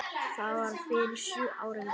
Það var fyrir sjö árum.